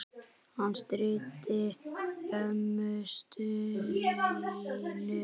Hann stríddi ömmu Stínu oft.